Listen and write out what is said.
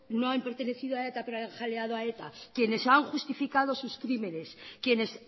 no han pertenecido a eta pero ha jaleado quienes han justificado sus crímenes quienes